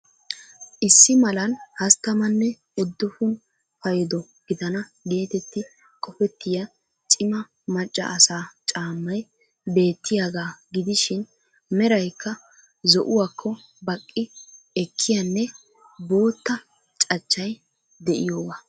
Issi malan hasttamanne uddufun paydo gidana geetetti qofettiya cima macca asaa caammay beettiyagaa gidishin meraykka zo"uwakko baqqi ekkiyanne bootta cachchay de'iyogaa